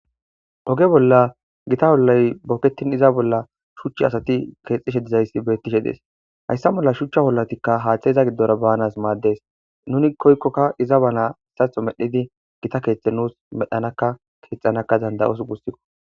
oge bolla gita wollay bokettin iza bolla shuchchi asati keexishe dizayssi bettishe dees hayssa bolla shuchcha wollatikka haaththayiza giddora baanas maaddes nuni koykkokka iza bala hessatho medhidi gita keexhthe nuus medhanaka keexxanaka danda7os gussikko